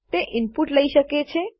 તે ઇનપુટ લઇ શકે છે